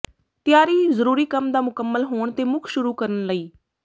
ਤਿਆਰੀ ਜ਼ਰੂਰੀ ਕੰਮ ਦਾ ਮੁਕੰਮਲ ਹੋਣ ਤੇ ਮੁੱਖ ਸ਼ੁਰੂ ਕਰਨ ਲਈ